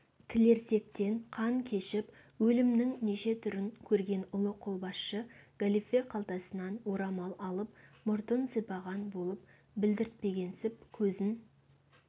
тілерсектен қан кешіп өлімнің неше түрін көрген ұлы қолбасшы галифе қалтасынан орамал алып мұртын сипаған болып білдіртпегенсіп көзін